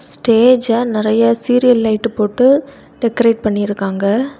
ஸ்டேஜ நறைய serial light போட்டு decorate பண்ணிருக்காங்க.